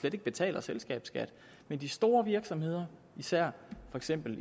ikke betaler selskabsskat men de store virksomheder især